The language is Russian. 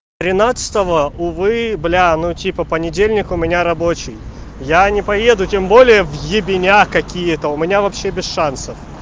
тринадцатого увы бля ну типа понедельник у меня рабочий я не поеду тем более в ебеня какие-то у меня вообще без шансов